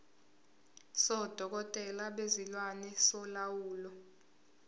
sodokotela bezilwane solawulo